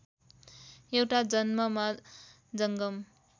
एउटा जन्ममा जङ्गम